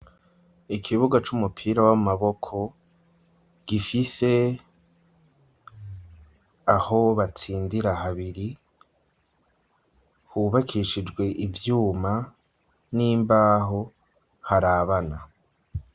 Ikibuga c'umupira w'amaboko, gifise aho batsindira habiri, hubakishijwe ivyuma n'imbaho, harabana.